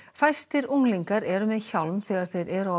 fæstir unglingar eru með hjálm þegar þeir eru á